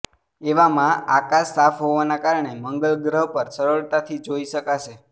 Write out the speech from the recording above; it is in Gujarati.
એવામાં આકાશ સાફ હોવાને કારણે મંગલ ગ્રહ પણ સરળતાથી જોઈ શકાશે